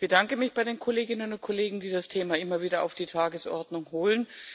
Ich bedanke mich bei den Kolleginnen und Kollegen, die das Thema immer wieder auf die Tagesordnung holen.